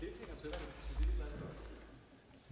der